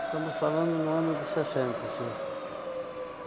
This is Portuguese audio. Estamos falando no ano de sessenta, sim.